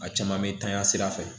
A caman bɛ tanya sira fɛ